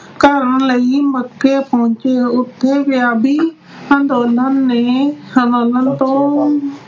ਕਰਨ ਲਈ ਮੱਕੇ ਪਹੁੰਚੇ ਉੱਥੇ ਅੰਦੋਲਨ ਨੇ ਤੋਂ